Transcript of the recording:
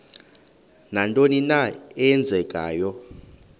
nantoni na eenzekayo